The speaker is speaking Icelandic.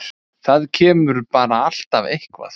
Það kemur bara alltaf eitthvað.